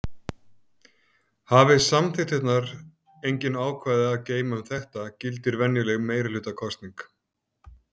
Hafi samþykktirnar engin ákvæði að geyma um þetta gildir venjuleg meirihlutakosning.